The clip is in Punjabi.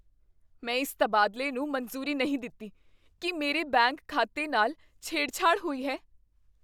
ਮੈਂ ਇਸ ਤਬਾਦਲੇ ਨੂੰ ਮਨਜ਼ੂਰੀ ਨਹੀਂ ਦਿੱਤੀ। ਕੀ ਮੇਰੇ ਬੈਂਕ ਖਾਤੇ ਨਾਲ ਛੇੜਛਾੜ ਹੋਈ ਹੈ?